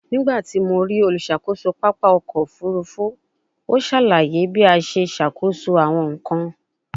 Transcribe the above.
Nigbati mo rii oluṣakoso papa ọkọ ofurufu, o salaye bi a ṣe ṣakoso awọn nkan